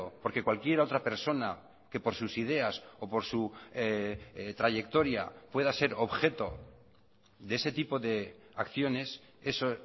porque cualquier otra persona que por sus ideas o por su trayectoria pueda ser objeto de ese tipo de acciones eso